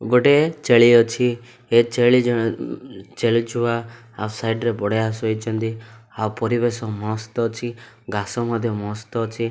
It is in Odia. ଗୋଟେ ଛେଳି ଅଛି ଏ ଛେଳି ଜଣ ଉଁ ଛେଳି ଛୁଆ ଆଉ ସାଇଡ୍ ରେ ବଢ଼ିଆ ଶୋଇଛନ୍ତି ଆଉ ପରିବେଶ ମସ୍ତ ଅଛି ଘାସ ମଧ୍ୟ ମସ୍ତ ଅଛି।